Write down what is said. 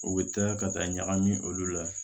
U bɛ taa ka taa ɲagami olu la